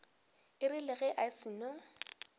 e rile ge a seno